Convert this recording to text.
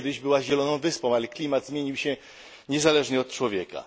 Bo kiedyś była zieloną wyspą, ale klimat zmienił się niezależnie od człowieka.